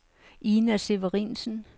Ina Severinsen